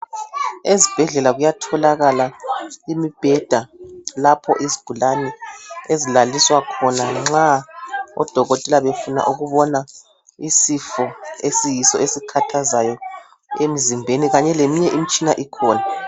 Ezibhedlela kuyatholakala imibheda lapho izigulane ezilaliswa khona nxa odokotela befuna ukubona isifo esiyiso esikhathazayo emzimbeni kanye leminye imitshina ikhona